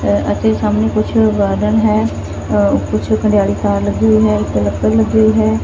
ਅਤੇ ਸਾਹਮਣੇ ਕੁਛ ਗਾਰਡਨ ਹੈ ਕੁਛ ਹਰੀਯਾਲੀ ਘਾਯ ਲੱਗੀ ਹੋਈ ਹੈ ਇੱਕ ਲੱਕੜ ਲੱਗੀ ਹੋਈ ਹੈ।